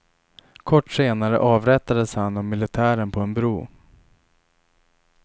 Kort senare avrättades han av militären på en bro.